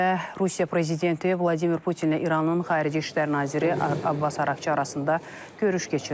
Kremldə Rusiya prezidenti Vladimir Putinlə İranın xarici İşlər naziri Abbas Araqçı arasında görüş keçirilib.